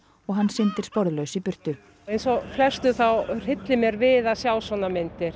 og hann syndir sporðlaus í burtu eins og flestum þá hryllir mér við að sjá svona myndir